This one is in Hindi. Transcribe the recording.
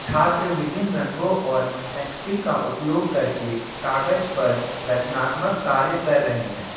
छात्र विभिन्न रंगों और पेंसिल का उपयोग करके कागज पर रचनात्मक कार्य कर रहे हैं।